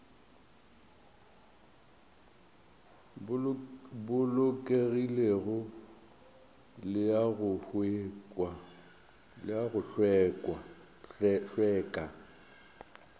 bolokegilego le a go hlweka